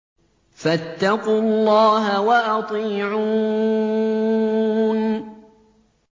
فَاتَّقُوا اللَّهَ وَأَطِيعُونِ